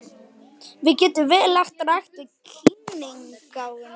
Við getum vel lagt rækt við kímnigáfuna.